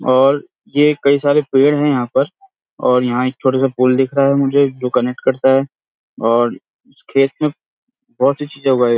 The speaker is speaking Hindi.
और ये कई सारे पेड़ हैं यहाँ पर और यहाँ एक छोटा सा पूल दिख रहा है मुझे जो कनेक्ट करता है और खेत में बहोत सी चीज़े उगाए --